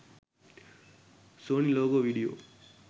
sony logo video